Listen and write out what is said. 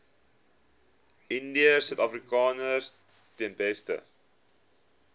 indiërsuidafrikaners ten beste